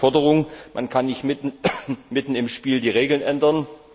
Deshalb die Forderung Man kann nicht mitten im Spiel die Regeln ändern.